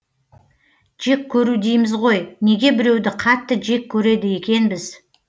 жек көру дейміз ғой неге біреуді қатты жек көреді екенбіз